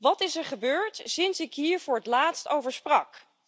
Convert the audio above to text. Wat is er gebeurd sinds ik hier voor het laatst over sprak?